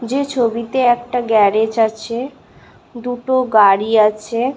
যে ছবিতে একটা গ্যারেজ আছে দুটো গাড়ি আছে।